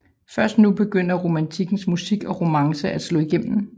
Først nu begyndte romantikkens musik og romancen at slå igennem